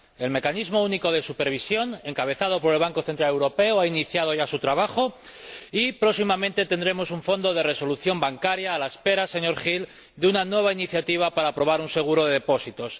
El mecanismo único de supervisión, encabezado por el Banco Central Europeo, ha iniciado ya su trabajo y próximamente tendremos un fondo de resolución bancaria a la espera, señor Hill, de una nueva iniciativa para aprobar un seguro de depósitos.